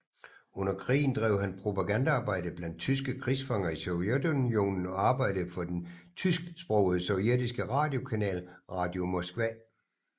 Under krigen drev han propagandaarbejde blandt tyske krigsfanger i Sovjetunionen og arbejdede for den tysksprogede sovjetiske radiokanal Radio Moskva